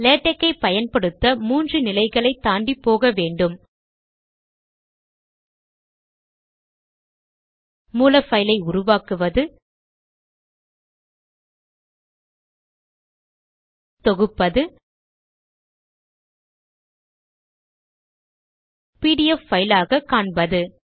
LaTeX ஐ பயன்படுத்த மூன்று நிலைகளை தாண்டி போக வேண்டும மூல பைலை உருவாக்குவது தொகுப்பது பிடிஎஃப் பைலாக காண்பது